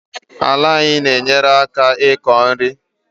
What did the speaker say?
Ala na-enyereaka iko nri